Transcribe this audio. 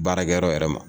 Baarakɛyɔrɔ yɛrɛ ma